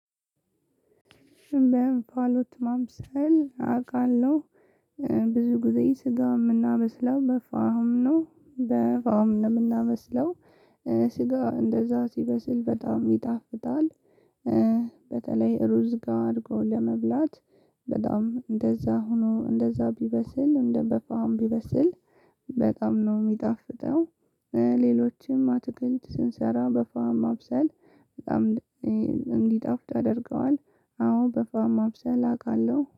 ሽምባውን ፋሎት ማምሰል አውቃለሁ ብዙ ጊዜ ስጋ ምናመስለው በፋም ነው በፋም ነው ምናመስለው ስጋ እንደዛ ሲበስል በጣም ይጣፍታል። በተለይ ሩዝ ጋር አድርጎ ለመብላት። በጣም እንደዛ ሆኖ እንደዛ ቢበስል እንደ በፋም ቢበስል በጣም ነው ሚጣፍጠው። ሌሎችም አትክልት ስንሰራ በፋም ማብሰል በጣም እንዲጣፍጥ ያድርገዋል። አዎ በፋማ ማብሰል አቃለሁ